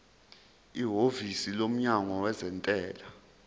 ihhovisi lomnyango wezentela